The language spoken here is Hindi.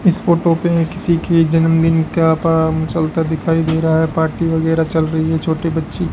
इस फोटो पे किसी के जन्मदिन का काम चलाता दिखाई दे रहा है पार्टी वगैरा चल रही है छोटी बच्ची --